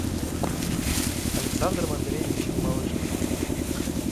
александром андреевичем малышкиным